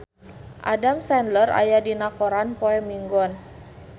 Adam Sandler aya dina koran poe Minggon